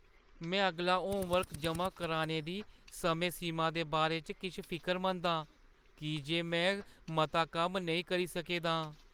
में अगला होमवर्क जमा कराने दी समें सीमा दे बारे च किश फिकरमंद आं की जे में मता कम्म नेईं करी सके दा आं।